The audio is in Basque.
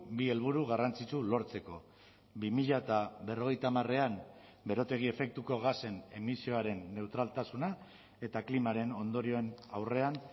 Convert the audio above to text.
bi helburu garrantzitsu lortzeko bi mila berrogeita hamarean berotegi efektuko gasen emisioaren neutraltasuna eta klimaren ondorioen aurrean